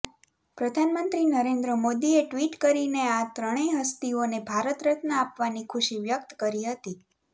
પ્રધાનમંત્રી નરેન્દ્ર મોદીએ ટ્વીટ કરીને આ ત્રણેય હસ્તીઓને ભારત રત્ન આપવાની ખુશી વ્યક્ત કરી હતી